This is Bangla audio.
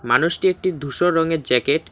মানুষটি একটি ধূসর রঙের জ্যাকেট --